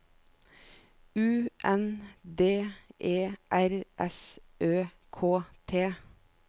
U N D E R S Ø K T